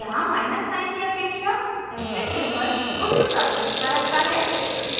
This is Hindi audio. यहाँ माइनस साइन की अपेक्षा ऐस्ट्रिस्क सिंबल उच्च प्राथमिकता रखता है